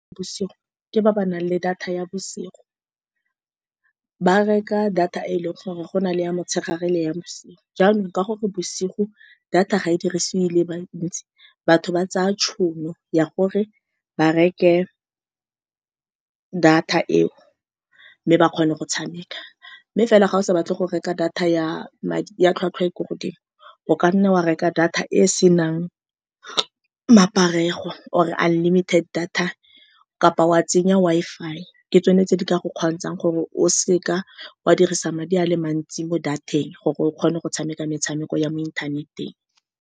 Bosigo, ke ba ba nang le data ya bosigo. Ba reka data e e leng gore go na le ya motshegare le ya bosigo. Jaanong, ka gore bosigo data ga e dirisiwe e le bantsi, batho ba tsaya tšhono ya gore ba reke data eo mme ba kgone go tshameka. Mme fela, ga o sa batle go reka data ya madi ya tlhwatlhwa e e ko godimo, o ka nna wa reka data e e senang maparego, or-e unlimited data, kapa wa tsenya Wi-Fi. Ke tsone tse di ka go kgontshang gore o seka wa dirisa madi a le mantsi mo data-eng gore o kgone go tshameka metshameko ya mo inthaneteng.